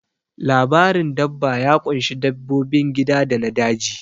Labarin dabba ya ƙunshi dabbobin gida da na daji